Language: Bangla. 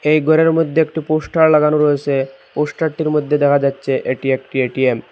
এই ঘরের মধ্যে একটি পোস্টার লাগানো রয়েসে পোস্টার টির মধ্যে দেখা যাচ্ছে এটি একটি এ_টি_এম ।